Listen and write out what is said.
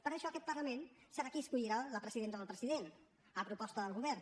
per això aquest parlament serà qui escollirà la presidenta o el president a proposta del govern